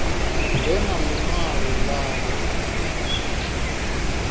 ḓe na ḽi ṅwalo ḽavho